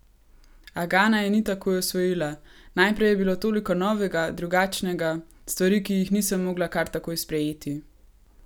A Gana je ni takoj osvojila: "Najprej je bilo toliko novega, drugačnega, stvari, ki jih nisem mogla kar takoj sprejeti.